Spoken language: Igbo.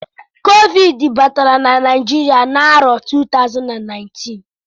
Covid batara na Naijiria n'arọ 2019